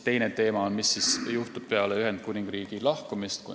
Teine teema on see, mis juhtub peale Ühendkuningriigi lahkumist.